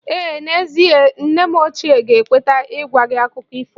Ee n'ezie, nne m ochie ga-ekweta ịgwa gị akụkọ ifo